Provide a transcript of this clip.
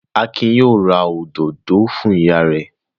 Akin yóò ra òdòdó fún ìyá rẹ̀.